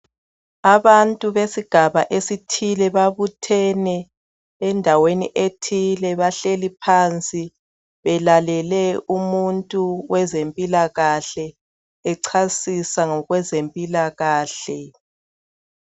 Abantu besigaba esithile babuthene endaweni ethile bahleli phansi belalele umuntu wezempilakahle echasisa ngezempilakahle.